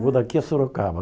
Vou daqui a Sorocaba.